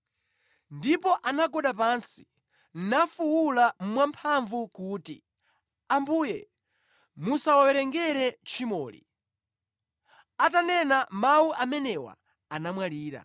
Ndipo anagwada pansi nafuwula mwamphamvu kuti, “Ambuye musawawerengere tchimoli.” Atanena mawu amenewa anamwalira.